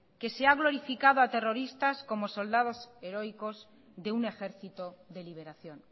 que se ha glorificado a terroristas como soldados heroicos de un ejercito de liberación